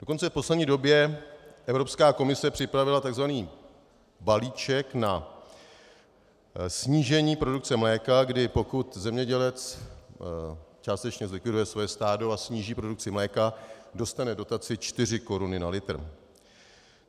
Dokonce v poslední době Evropská komise připravila tzv. balíček na snížení produkce mléka, kdy pokud zemědělec částečně zlikviduje své stádo a sníží produkci mléka, dostane dotaci čtyři koruny na litr.